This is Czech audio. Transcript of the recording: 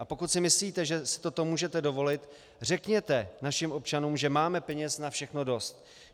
A pokud si myslíte, že si toto můžete dovolit, řekněte našim občanům, že máme peněz na všechno dost.